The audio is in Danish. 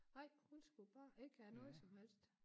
Nej hun skulle bare ikke have noget som helst